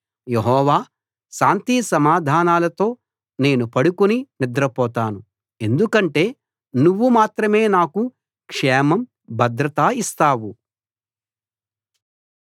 యెహోవా శాంతిసమాధానాలతో నేను పడుకుని నిద్రపోతాను ఎందుకంటే నువ్వు మాత్రమే నాకు క్షేమం భద్రత ఇస్తావు